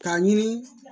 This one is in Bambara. K'a ɲini